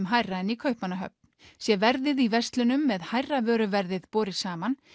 hærra en í Kaupmannahöfn sé verðið í verslunum með hærra vöruverðið borið saman